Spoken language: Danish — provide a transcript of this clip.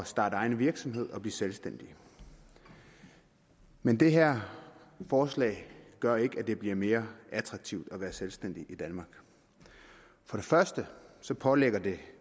starte egen virksomhed og blive selvstændige men det her forslag gør ikke at det bliver mere attraktivt at være selvstændig i danmark for det første pålægger det